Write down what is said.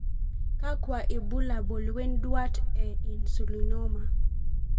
Kakwa ibulabul wonduat e Insulinoma?